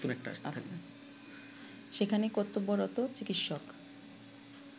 সেখানে কর্তব্যরত চিকিৎসক